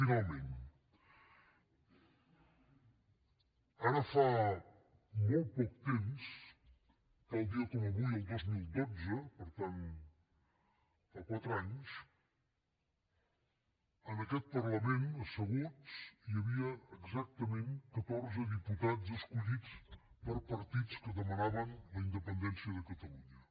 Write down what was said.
finalment ara fa molt poc temps tal dia com avui el dos mil dotze per tant fa quatre anys en aquest parlament asseguts hi havia exactament catorze diputats escollits per partits que demanaven la independència de catalunya